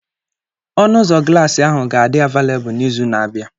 Ọnụ ụzọ glaasị ahụ ga-adị avelebul n'izu na-abịa.